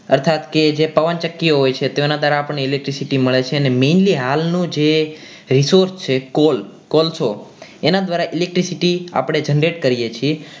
અર્થાત કે જે પવનચક્કી હોય છે તેની અંદર આપણને electricity મળે છે અને mainly હાલનું જે research છે કોલ કોલસો એના દ્વારા electricity આપણી generate કરીએ છીએ.